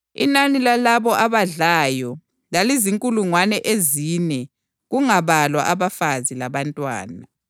Inani lalabo abadlayo lalizinkulungwane ezine kungabalwa abafazi labantwana.